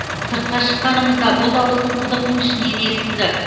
сыртқа шыққанымызда бұл дауыстың құдықтың ішінен естілді